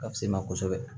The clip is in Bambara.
Ka fise ma kosɛbɛ